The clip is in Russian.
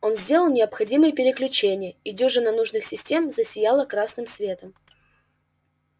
он сделал необходимые переключения и дюжина нужных систем засияла красным светом